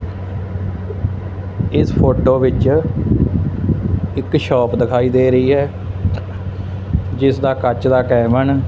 ਇਸ ਫੋਟੋ ਵਿੱਚ ਇੱਕ ਸ਼ੋਪ ਦਿਖਾਈ ਦੇ ਰਹੀ ਹੈ ਜਿਸ ਦਾ ਕੱਚ ਦਾ ਕੈਬਨ --